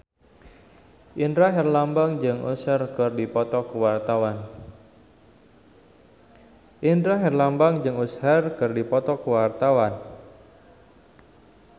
Indra Herlambang jeung Usher keur dipoto ku wartawan